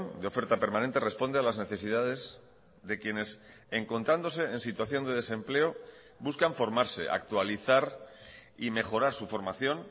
de oferta permanente responde a las necesidades de quienes encontrándose en situación de desempleo buscan formarse actualizar y mejorar su formación